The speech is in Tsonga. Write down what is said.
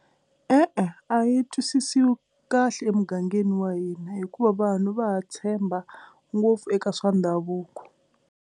E-e a yi twisisiwi kahle emugangeni wa hina hikuva vanhu va ha tshemba ngopfu eka swa ndhavuko.